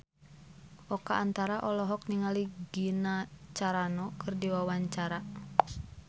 Oka Antara olohok ningali Gina Carano keur diwawancara